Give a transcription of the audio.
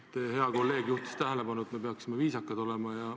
Teie hea kolleeg juhtis tähelepanu, et me peaksime viisakad olema.